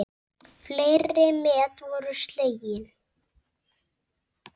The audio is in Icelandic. Fleiri met voru slegin.